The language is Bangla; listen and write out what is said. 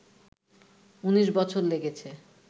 ১৯ বছর লেগেছে